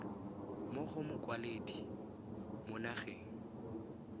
mo go mokwaledi mo nageng